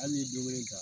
Hali ni don kelen kan